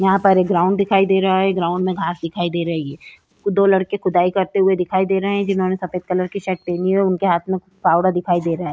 यहाँ पर एक ग्राउंड दिखाई दे रहा है ग्राउंड में घास दिखाई दे रही है दो लड़के खुदाई करते हुए दिखाई दे रहे है जिन्होंने सफ़ेद कलर की शर्ट पहनी है उनके हाथ में फावड़ा दिखाई दे रहा है।